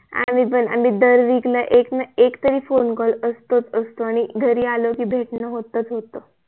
आम्ही पण आम्ही दर WEEK ला एकना एक तरी फोने CALL असतोच असतो आणि घरी आलो की भेटण होतच होत